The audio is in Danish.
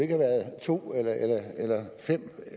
have været to eller fem